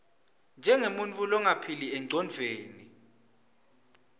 njengemuntfu longaphili engcondvweni